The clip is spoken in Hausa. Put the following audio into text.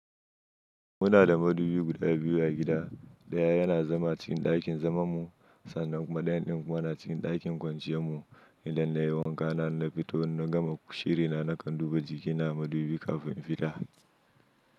Muna da madubi guda biyu a gida. Ɗaya yana zama cikin ɗakin zamammu sannan kuma ɗayan ɗin kuma na cikin ɗakin kwanciyar mu. Idan na yi wanka na na fito na gama shirina, nakan duba jikina madubi kafin in fita.